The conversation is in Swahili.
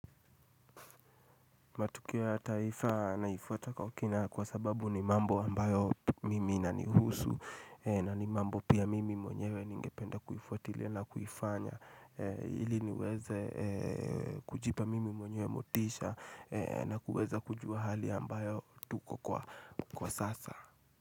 Matukio ya taifa naifuata kwa kina kwa sababu ni mambo ambayo mimi inanihusu na ni mambo pia mimi mwenyewe ningependa kuifuatilia na kuifanya ili niweze kujipa mimi mwenyewe motisha na kuweza kujua hali ambayo tuko kwa sasa.